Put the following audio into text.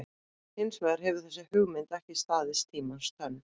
Hins vegar hefur þessi hugmynd ekki staðist tímans tönn.